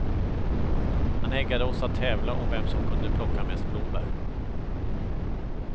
Han eggade oss att tävla om vem som kunde plocka mest blåbär.